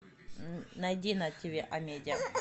найди на тиви амедиа